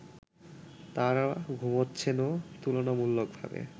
তারা ঘুমাচ্ছেনও তুলনামূলকভাবে